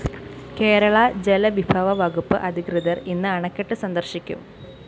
കേരള ജലവിഭവ വകുപ്പ് അധികൃതര്‍ ഇന്ന് അണക്കെട്ട് സന്ദര്‍ശിക്കും